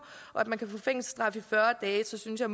og få fængselsstraf i fyrre dage så synes jeg